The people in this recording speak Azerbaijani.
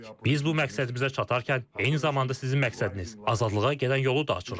Biz bu məqsədimizə çatarkən eyni zamanda sizin məqsədiniz, azadlığa gedən yolu da açırıq.